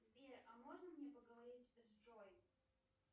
сбер а можно мне поговорить с джой